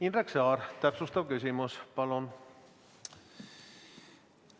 Indrek Saar, täpsustav küsimus palun!